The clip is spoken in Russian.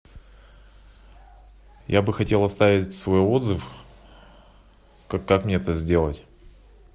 я бы хотел оставить свой отзыв как мне это сделать